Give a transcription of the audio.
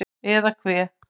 Eða hve